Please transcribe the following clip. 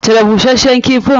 Cire busashshen kifin!